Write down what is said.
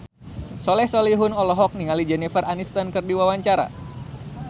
Soleh Solihun olohok ningali Jennifer Aniston keur diwawancara